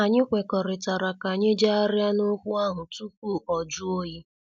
Anyị kwekọrịtara ka anyị jegharia na okwu ahụ tupu ọ jụọ oyi.